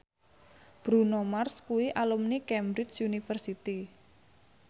Bruno Mars kuwi alumni Cambridge University